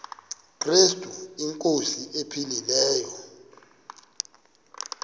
krestu inkosi ephilileyo